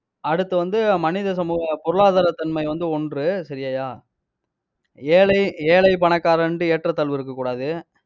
அடுத்து வந்து, மனித சமூக, பொருளாதாரத்தன்மை வந்து ஒன்று சரியாய்யா? ஏழை ஏழை, பணக்காரன்ட்டு, ஏற்றத்தாழ்வு இருக்கக் கூடாது.